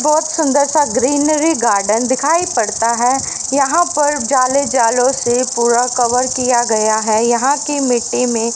बहोत सुंदर सा ग्रीनरी गार्डन दिखाई पड़ता है यहां पर जाले जालों से पूरा कवर किया गया है यहां की मिट्टी में--